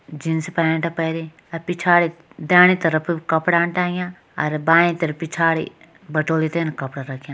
Jeans pant पैरीं अर पिछाड़ी दैनि तरफ कपड़ा टांग्या अर बाईं तरफ पिछाड़ी बटोली तैन कपड़ा रख्यां।